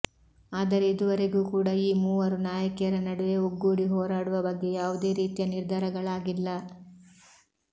ಆದರೆ ಇದುವರೆಗೂ ಕೂಡ ಈ ಮೂವರು ನಾಯಕಿಯರ ನಡುವೆ ಒಗ್ಗೂಡಿ ಹೋರಾಡುವ ಬಗ್ಗೆ ಯಾವುದೇ ರೀತಿಯ ನಿರ್ಧಾರಗಳಾಗಿಲ್ಲ